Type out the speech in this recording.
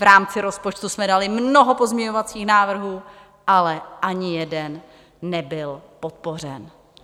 V rámci rozpočtu jsme dali mnoho pozměňovacích návrhů, ale ani jeden nebyl podpořen.